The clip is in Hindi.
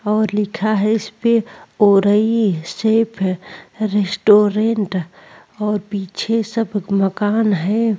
और लिखा है इस पे उरई सेफ रेस्टोरेंट और पीछे सब मकान है।